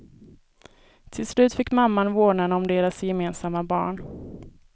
Tills slut fick mamman vårdnaden om deras gemensamma barn.